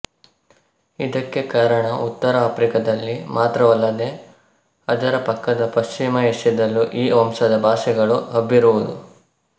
ಇದಕ್ಕೆ ಕಾರಣ ಉತ್ತರ ಆಫ್ರಿಕದಲ್ಲಿ ಮಾತ್ರವಲ್ಲದೆ ಅದರ ಪಕ್ಕದ ಪಶ್ಚಿಮ ಏಷ್ಯದಲ್ಲೂ ಈ ವಂಶದ ಭಾಷೆಗಳು ಹಬ್ಬಿರುವುದು